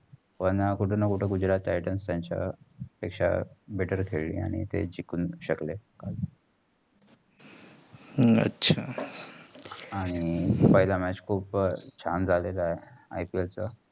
पण कुठेना कुठे गुजरात टाइटंस ते त्यांचा पेक्षा better खेळले आणि तेय जिंकून शकले. अह अच्छा आणि पयला match खूप छान झालेला आहे. IPL चा